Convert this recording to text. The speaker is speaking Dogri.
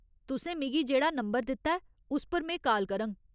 तुसें मिगी जेह्ड़ा नंबर दित्ता ऐ उस पर में काल करङ।